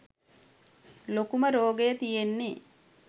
ලොකුමරෝගය තියෙන්නේ.